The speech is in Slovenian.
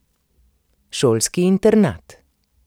Šolski internat.